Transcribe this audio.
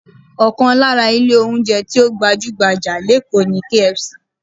Ọkàn lára ilé oúnjẹ tí ó gbajú-gbajà lékòó ni KFC